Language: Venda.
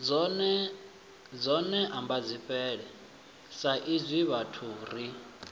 dzone ambadzifhele saizwi vhathu ri